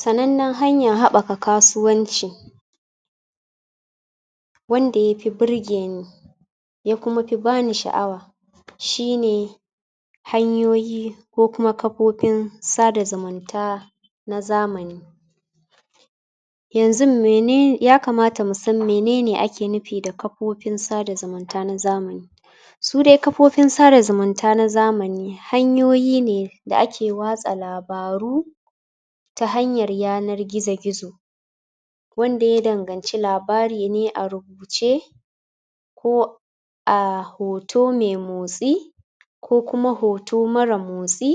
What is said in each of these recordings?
sanannen haɓaka hanyan kasuwanci wanda ya pi burgeni ya kuma pi bani sha'awa shine hanyoyi ko kuma kapopin sada zumunta na zamani yanzun mene yakamata mu san mene ne ake nupi da kapopin sada zumunta na zamani su de kapopin sada zumunta na zamani hanyoyi ne da ake watsa labaru ta hanyar yanar gizo gizo wanda ya danganci labari ne a rubuce ko a hoto me motsi ko kuma hoto mara motsi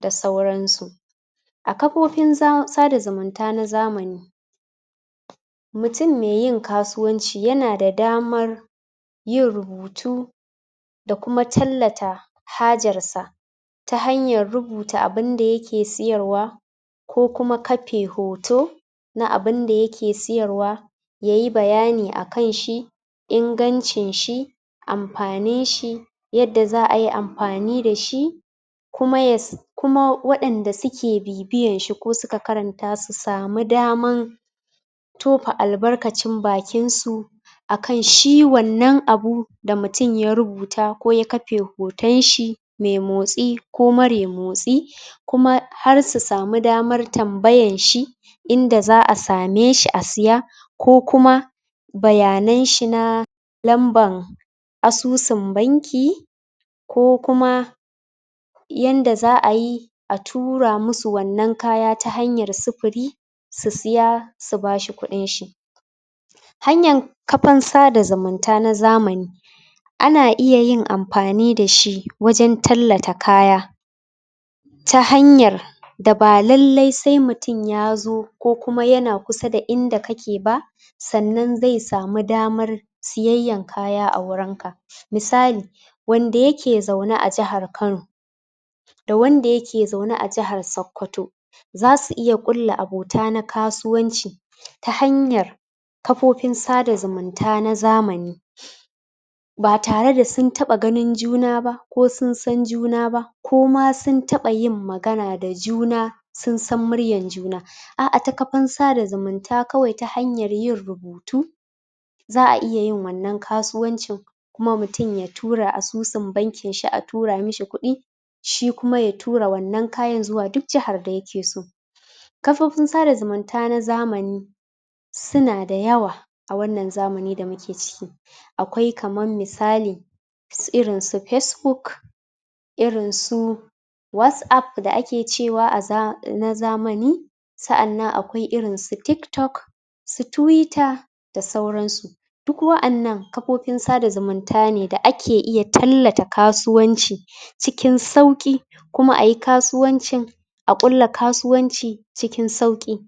da sauransu a kapopin za sada zumunta na zamani mutun me yin kasuwanci yana da damar yin rubutu da kuma tallata hajarsa ta hanyar rubuta abunda yake siyarwa ko kuma kape hoto na abunda yake siyarwa yayi bayani akan shi ingancinshi ampaninshi yadda za'ayi ampani dashi kuma yas kuma waɗanda suke bibiyan shi ko suka karanta su samu daman topa albarkacin bakinsu akan shi wannan abu da mutun ya rubuta ko ya kape hotonshi me motsi ko mare motsi kuma har su samu daman tambayanshi inda za'a same shi a siya ko kuma bayananshi na lamban asusun banki ko kuma yanda za'ayi a tura musu wannan kaya ta hanyar supuri su siya su bashi kuɗinshi hanyan kapan sada zumunta na zamani ana iya yin ampani dashi wajen tallata kaya ta hanyar da ba lallai sai mutun ya zo ko kuma yana kusa da inda kake ba sannan zai samu damar siyayyan kaya a wurin ka misali wanda yake zaune a jahar kano da wanda yake zaune a jahar sakkwato zasu iya ƙulla abota na kasuwanci ta hanyar kapopin sada zumunta na zamani? ba tare da sun taɓa ganin juna ba ko sun san juna ba ko ma sun taɓa yin magana da juna sun san muryan juna a'a ta kapan sada zumunta kawai ta hanyar yin rubutu za'a iya yin wannan kasuwancin kuma mutun ya tura asusun bankin shi a tura mishi kuɗi shi kuma ya tura wannan kayan zuwa duk jahar da yake so kafofin sada zumunta na zamani suna da yawa a wannan zamani da muke ciki akwai kaman misali su irin su pesbuk irin su wasap da ake cewa a za na zamani sa'annan akwai irin su tiktok su tuwita da sauransu duk wa'annan kapopin sada zumunta ne da ake iya tallata kasuwanci cikin sauƙi kuma ayi kasuwancin a ƙulla kasuwanci cikin sauƙi